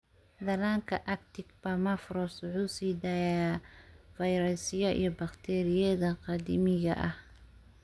Dhallaanka Arctic Permafrost wuxuu sii daayaa fayrasyo iyo bakteeriyada qadiimiga ah.